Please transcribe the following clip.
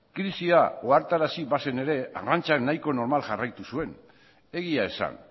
krisia ohartarazi bazen ere arrantzak nahiko normal jarraitu zuen egia esan